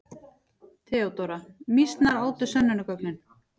THEODÓRA: Mýsnar átu sönnunargögnin.